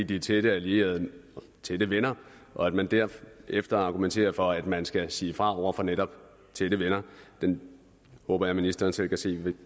de er tætte allierede tætte venner og at man derefter argumenterer for at man skal sige fra over for netop tætte venner det håber jeg ministeren selv kan se